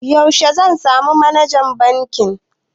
Yaushe zan samu Manajan bankin?